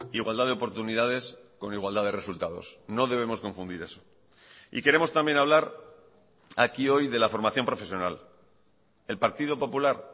igualdad de oportunidades con igualdad de resultados no debemos confundir eso y queremos también hablar aquí hoy de la formación profesional el partido popular